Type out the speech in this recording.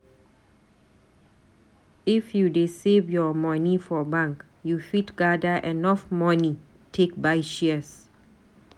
If you dey save your moni for bank, you fit gada enough moni take buy shares.